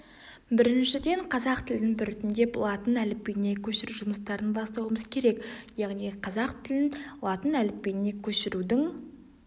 біріншіден қазақ тілін біртіндеп латын әліпбиіне көшіру жұмыстарын бастауымыз керек яғни қазақ тілін латын әліпбиіне көшірудің